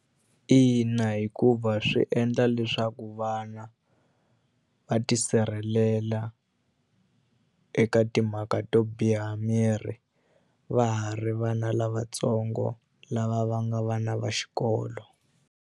Ina, hikuva swi endla leswaku vana va tisirhelela eka timhaka to biha miri va ha ri vana lavatsongo lava va nga vana va xikolo.